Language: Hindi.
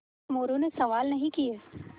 मोरू ने सवाल नहीं किये